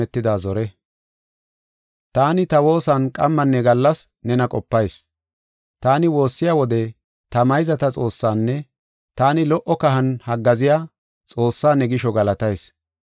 Taani, ta woosan qammanne gallas nena qopayis. Taani woossiya wode ta mayzata Xoossaanne taani lo77o kahan haggaaziya Xoossaa ne gisho galatayis.